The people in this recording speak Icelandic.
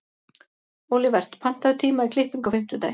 Olivert, pantaðu tíma í klippingu á fimmtudaginn.